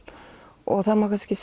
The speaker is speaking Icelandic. og það má kannski